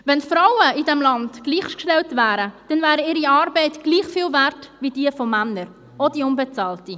Wären Frauen in diesem Land gleichgestellt, dann wäre ihre Arbeit gleich viel wert wie jene der Männer, auch die unbezahlte.